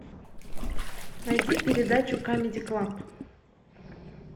найди передачу камеди клаб